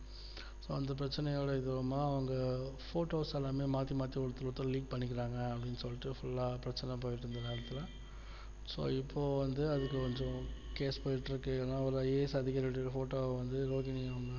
அந்தப் பிரச்சனையோடு இது வருமா அவங்க photos எல்லாமே மாத்தி மாத்தி ஒருத்தருக்குஒருத்தர் leak பண்ணிக்கிறாங்க அப்படின்னு சொல்லிட்டு full ஆ பிரச்சனை போயிட்டு இருந்த நேரத்துல so இப்போ வந்து அதுக்கு கொஞ்சம் case போயிட்டு இருக்கு ஏன்னா ஒரு IAS அதிகாரி உடைய photo வந்து